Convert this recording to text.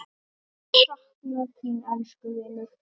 Mun sakna þín, elsku vinur.